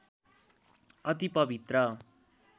अति पवित्र